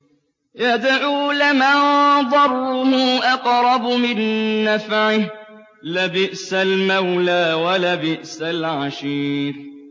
يَدْعُو لَمَن ضَرُّهُ أَقْرَبُ مِن نَّفْعِهِ ۚ لَبِئْسَ الْمَوْلَىٰ وَلَبِئْسَ الْعَشِيرُ